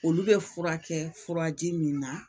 Olu bɛ fura kɛ furaji min na